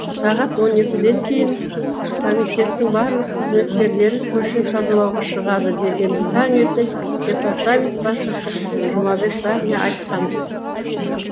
сағат он екіден кейін комитеттің барлық қызметкерлері көше тазалауға шығады дегенді таңертең департамент басшысы жұмабек бәріне айтқан